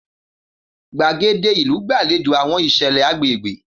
Gbaede ilu gbalejo awọn iṣẹlẹ agbegbe.